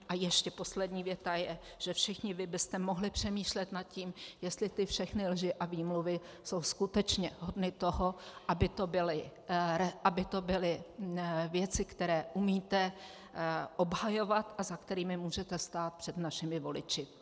A ještě poslední věta je, že všichni vy byste mohli přemýšlet nad tím, jestli ty všechny lži a výmluvy jsou skutečně hodny toho, aby to byly věci, které umíte obhajovat a za kterými můžete stát před našimi voliči.